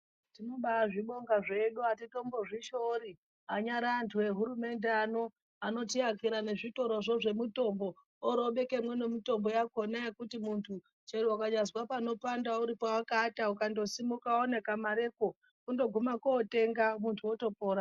Tinobazvibonga zvedu atitombo zvishoori anyari antu ehurumende ano anotiakira zvitorozvo zvemutombo orobekemo nemutombo yakona yekuti muntu chero ukanyazwa panopanda uripo pawakaata ukangosimuka une kamarepo kundoguma kotenga muntu otopora.